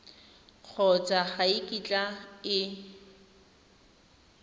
kgotsa ga e kitla e